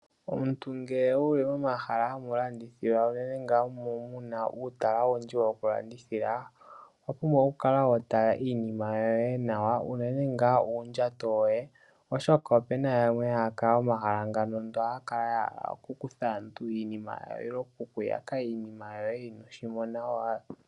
Omuntu ngele wu li momahala hamulandithilwa unene ngaa mu mu na uutala owundji wokulandithila owa pumbwa okukala wa tala na iinima yoye nawa unene ngaa uundjato woye oshoka opuna yamwe haya kala momahala ngano ndele ohaya kala oku kutha aantu iinima yawo nenge oku ku yaka iinima yoye inooshimona.